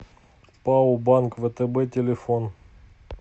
пао банк втб телефон